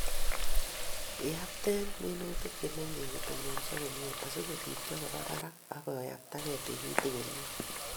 Iyapte minutik che mengech kotononso komie asikopiityo koba barak ak koyaptage tikitik komie